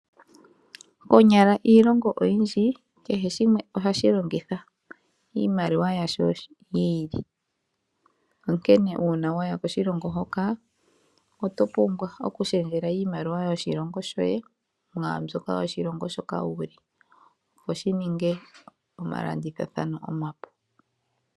Konyala iilongo oyindji, kehe shimwe ohashilongitha iimaliwa yasho yiili. Onkene uuna waya koshilongo hoka otopumbwa okutaabathana iimaliwa yoshilongo shoye mwaambyoka yoshilongo shoka wuli, opo shininge omalandithathano omapu.